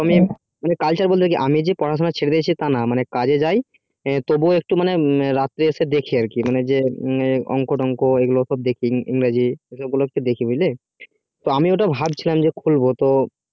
মানে culture বলতে কি টু যে পড়াশুনা ছেড়ে দিয়েছিস কাজে যাই তবু একটু রাতে এসে দেখি এই যে অঙ্ক টঙ্ক এই গুলো দেখি ইংরেজি দেখি বুঝলি তো আমি তো ওটা ভাবছিলাম যে খুলবো তো